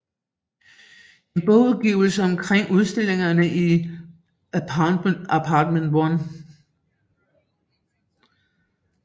En bogudgivelse omkring udstillingerne i Apartment One